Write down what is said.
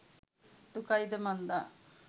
දුකයි ද මන්දා